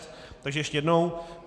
Takže ještě jednou.